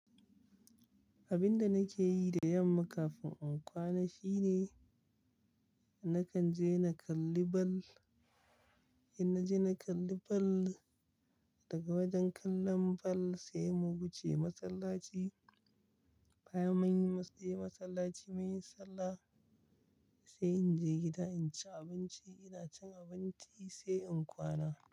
Abin da nake yi da yamma kafin in kwana shine nakan je na kalli ball. In naje na kalli ball, daga wajen kallon ball sai mu wuce masallaci. Baya munje masallaci munyi sallah, sai in je gida in ci abinci. Ina cin abinci sai in kwana.